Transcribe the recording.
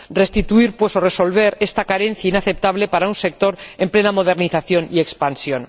Se resuelve, pues, esta carencia inaceptable para un sector en plena modernización y expansión.